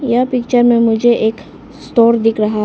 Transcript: यह पिक्चर में मुझे एक स्टोर दिख रहा--